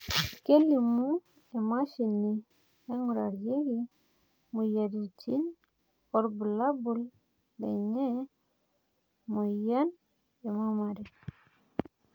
kelimu emashini naingurarieki imoyiaritin irbulabol lena moyian e mammary